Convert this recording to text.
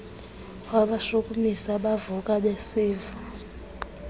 wabashukumisa bavuka basiva